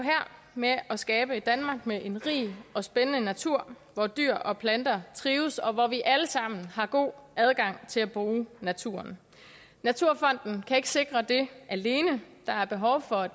med at skabe et danmark med en rig og spændende natur hvor dyr og planter trives og hvor vi alle sammen har god adgang til at bruge naturen naturfonden kan ikke sikre det alene der er behov for